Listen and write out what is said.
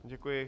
Děkuji.